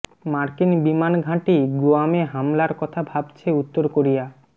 মার্কিন বিমান ঘাটি গুয়ামে হামলার কথা ভাবছে উত্তর কোরিয়া